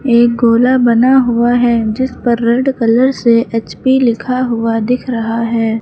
एक गोला बना हुआ है जिस पर रेड कलर से एच_पी लिखा हुआ दिख रहा है।